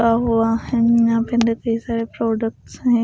गा हुआ है यह पे सारे प्रोडक्ट्स है।